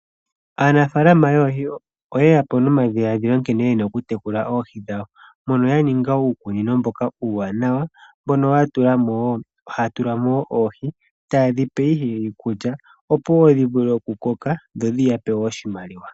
Aanafalama yoohi oye yapo nomadhiladhilo nkene ye na okutekula oohi dhawo mono ya ninga uukunino mboka uuwanawa mbono haya tulamo wo oohi taye dhipe iikulya opo dhi vule okukoka dho dhiyapo oshimaliwa.